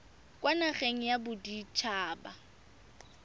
kwa nageng ya bodit haba